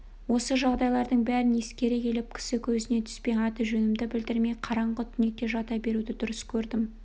осы жағдайлардың бәрін ескере келіп кісі көзіне түспей аты-жөнімді білдірмей қараңғы түнекте жата беруді дұрыс көрдім